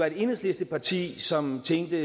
et enhedslisteparti som tænkte